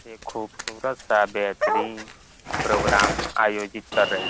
एक खूबसूरत सा बेहतरीन प्रोग्राम आयोजित कर रही --